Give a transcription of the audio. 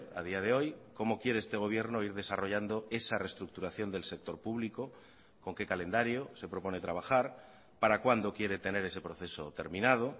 a día de hoy cómo quiere este gobierno ir desarrollando esa reestructuración del sector público con qué calendario se propone trabajar para cuándo quiere tener ese proceso terminado